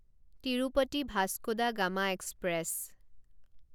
Tirupati Vasco da Gama express